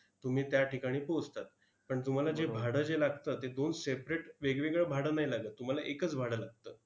तुम्ही त्या ठिकाणी पोहोचतात. पण तुम्हाला जे भाडं जे लागतं, ते दोन separate वेगवेगळं भाडं नाही लागत. तुम्हाला एकच भाडं लागतं.